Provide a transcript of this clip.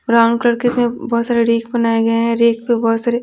brown colour के इसमें बहुत सारे रेक बनाए गए हैं रेक पे बहुत सारे--